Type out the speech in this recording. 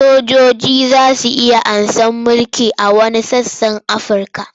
Sojoji za su iya karɓar mulki a wasu sassa na Afirka.